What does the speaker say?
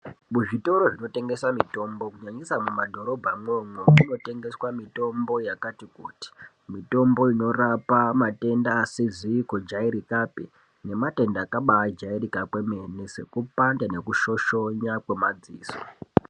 Muzvitoro zvinotengesa mitombo kunyanyisa mumadhorobha mwomwo munotengeswa yakati kuti. Mitombo inorapa matenda asizi kujairikapi nematenda akabaajairika kwemene nekupanda nekushoshona kwemadziso.